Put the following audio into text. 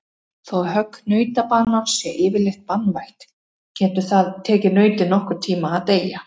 Þó högg nautabanans sé yfirleitt banvænt getur það tekið nautið nokkurn tíma að deyja.